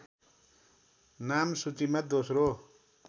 नाम सूचीमा दोस्रो